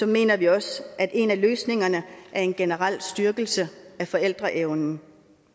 mener vi også at en af løsningerne er en generel styrkelse af forældreevnen